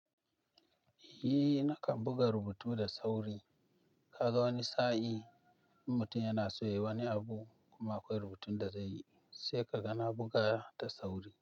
Eh, nakan buga rubutu da sauri. Kaga wani sa'i in mutum yana so ya yi wani abu kuma akwai rubutun da zai yi, sai kaga na buga da sauri.